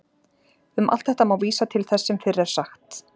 Um allt þetta má vísa til þess sem fyrr er sagt.